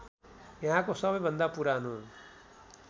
यहाँको सबैभन्दा पुरानो